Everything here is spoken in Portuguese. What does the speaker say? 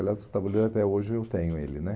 Aliás, o tabuleiro até hoje eu tenho ele né.